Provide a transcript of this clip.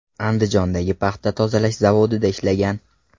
Andijondagi paxta tozalash zavodida ishlagan.